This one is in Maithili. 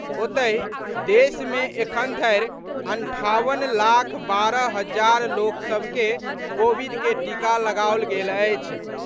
ओतहि, देश मे एखन धरि अंठावन लाख बारह हजार लोक सभ के कोविड के टीका लगाओल गेल अछि।